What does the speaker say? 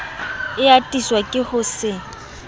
e atiswa ke ho se